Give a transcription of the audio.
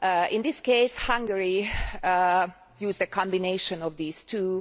In this case, Hungary used a combination of these two.